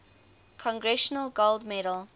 congressional gold medal